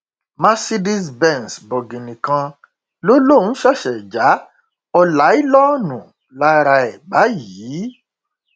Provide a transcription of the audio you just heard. mercedez benz bọ̀gìnnì kan ló lóun ṣẹ̀ṣẹ̀ já ọláìlọ́ọ́nù lára ẹ̀ báyìí